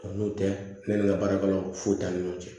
O n'o tɛ ne ni ka baarakɛlaw fo t'an ni ɲɔgɔn cɛ